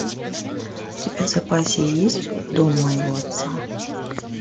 у тебя в запасе есть дом моего отца